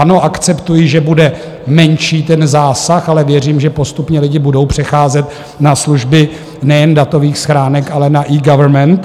Ano, akceptuji, že bude menší ten zásah, ale věřím, že postupně lidi budou přecházet na služby nejen datových schránek, ale na eGovernment.